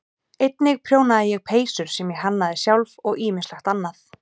Einnig prjónaði ég peysur sem ég hannaði sjálf og ýmislegt annað.